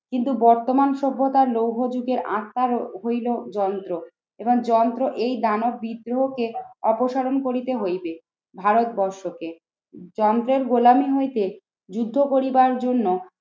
কিন্তু বর্তমান সভ্যতার লৌহ যুগের আত্মার হইল যন্ত্র এবং যন্ত্র এই দানব বিদ্রোহকে অপসারণ করিতে হইবে ভারতবর্ষকে। যন্ত্রের গোলামী হইতে যুদ্ধ করিবার জন্য